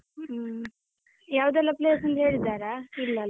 ಹ್ಮ್ ಯಾವದೆಲ್ಲ place ಅಂತ ಹೇಳಿದ್ದಾರಾ? ಇಲ್ಲಲ್ಲ.